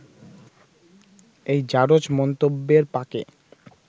এই ‘জারজ’ মন্তব্যের পাঁকে